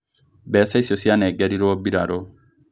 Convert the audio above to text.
Mbeca icio cianegerirwo mbirarũ